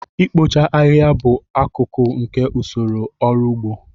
Ikpocha ahịhịa bụ akụkụ nke usoro ọrụ ugbo